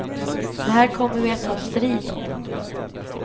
Det här kommer vi att ta strid om.